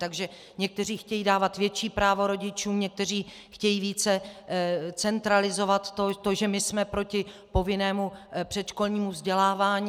Takže někteří chtějí dávat větší právo rodičům, někteří chtějí více centralizovat to, že my jsme proti povinnému předškolnímu vzdělávání.